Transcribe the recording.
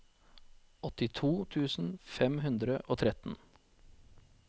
åttito tusen fem hundre og tretten